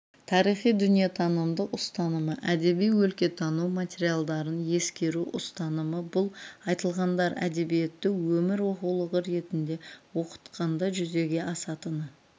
тарихи-дүниетанымдық ұстанымы әдеби өлкетану материалдарын ескеру ұстанымы бұл айтылғандар әдебиетті өмір оқулығы ретінде оқытқанда жүзеге асатыны